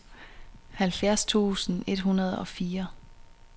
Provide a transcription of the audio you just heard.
halvfjerds tusind et hundrede og fire